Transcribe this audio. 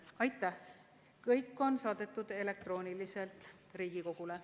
Mõlemad eelnõud on saadetud elektrooniliselt Riigikogule.